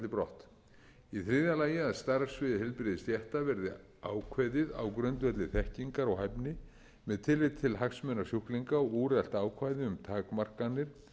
brott í þriðja lagi að starfssvið heilbrigðisstétta verði ákveðið á grundvelli þekkingar og hæfni með tilliti til hagsmuna sjúklinga og úrelt ákvæði um takmarkanir